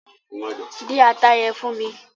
Dín ata yẹn fún mi!